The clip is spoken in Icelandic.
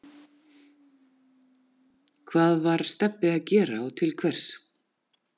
Hvað var Stebbi að gera og til hvers?